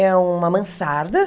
É uma mansarda.